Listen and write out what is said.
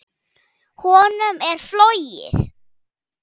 Honum er flogið.